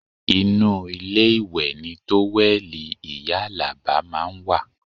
Inú ilé ìwẹ̀ ni tówẹ́ẹ̀lì ìyá Alaba máa ń wà